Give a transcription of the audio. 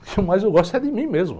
O que eu mais, eu gosto é de mim mesmo.